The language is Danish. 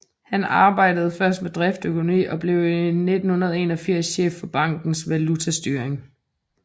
Han arbejdede først med driftsøkonomi og blev i 1981 chef for bankens valutastyring